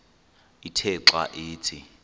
ithe xa ithi